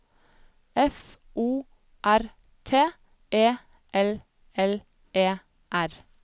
F O R T E L L E R